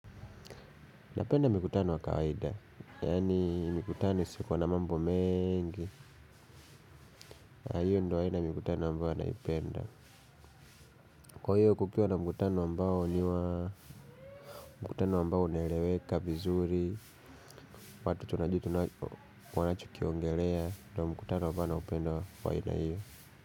Napenda mikutano wa kawaida, yaani mikutano isipo na mambo mengi, na hiyo ndio aina ya mikutano ambayo naipenda. Kwa hiyo kukuwa na mkutano ambayo unaeleweka vizuri, watu tunajua wanachokiongelea, ndio mkutano ambayo naupenda wa aina hiyo.